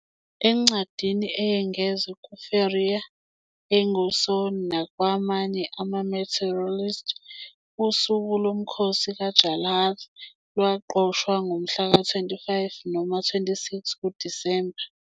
Encwadini eyengezwe "kuFélire Óengusso" nakwamanye ama-martyrologies, usuku lomkhosi kaJarlath lwaqoshwa ngomhlaka 25 noma 26 kuDisemba.